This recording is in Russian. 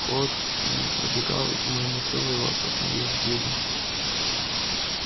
холод м пробегал по моему телу и волоса становились дыбом